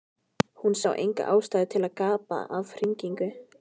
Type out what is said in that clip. Hún sá enga ástæðu til að gapa af hrifningu.